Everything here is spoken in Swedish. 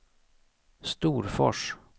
Storfors